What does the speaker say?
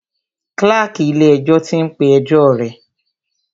Kláàkì ilé ẹjọ́ tí ń pé ẹjọ́ rẹ̀.